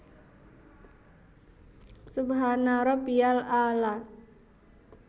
Subhanarabbiyal a laa